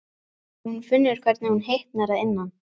Og hún finnur hvernig hún hitnar að innan.